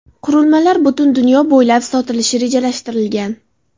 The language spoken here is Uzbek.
Qurilmalar butun dunyo bo‘ylab sotilishi rejalashtirilgan.